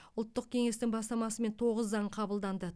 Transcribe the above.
ұлттық кеңестің бастамасымен тоғыз заң қабылданды